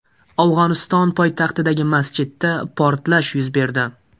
Afg‘oniston poytaxtidagi masjidda portlash yuz berdi.